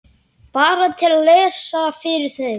Bara til að lesa fyrir þau.